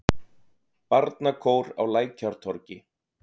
Barnakór á Lækjartorgi.